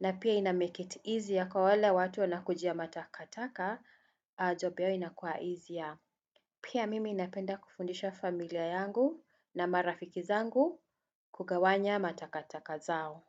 na pia ina 'make it easier' kwa wale watu wanakujia matakataka, 'job' yao inakua 'easier'. Pia mimi napenda kufundisha familia yangu, na marafiki zangu, kugawanya matakataka zao.